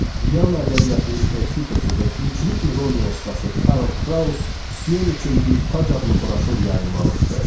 Viyana ədəbiyyatının Tersitesi və güclü ironiya ustası Karl Kraus “Siyon üçün bir Tac” adlı broşur yayımlamışdı.